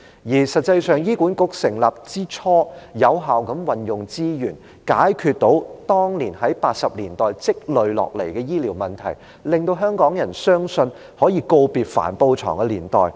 而實際上，醫管局成立之初是有效地運用資源，成功解決當年，即1980年代積累的醫療問題，令香港人相信，可以告別帆布床的年代。